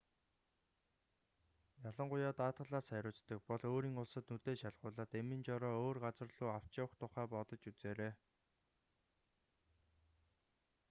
ялангуяа даатгалаас хариуцдаг бол өөрийн улсад нүдээ шалгуулаад эмийн жороо өөр газар луу авч явах тухай бодож үзээрэй